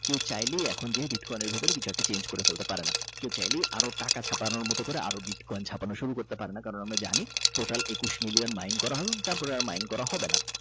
কেউ চাইলে বিটকয়েনের ভিতরে কিছু একটা chang করে ফেলতে পারে না কেউ চাইলে টাকা ছাপানোর মত আরও বিট কয়েন ছাপানো শুরু করতে পারেনা কারন আমরা জানি টোটাল একুশ মিলিয়ন মাইন করা হলো Mind করা হবে না।